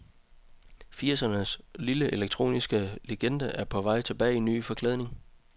Firsernes lille elektroniske legende er på vej tilbage i ny forklædning.